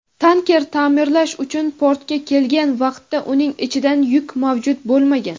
tanker ta’mirlash uchun portga kelgan vaqtda uning ichidan yuk mavjud bo‘lmagan.